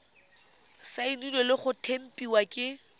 saenilwe le go tempiwa ke